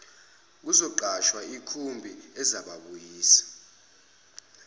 bazoqasha ikhumbi ezababuyisa